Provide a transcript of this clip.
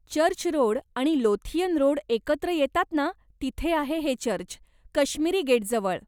Church road आणि Lothian road एकत्र येतात ना तिथे आहे हे चर्च, कश्मीरी गेट जवळ.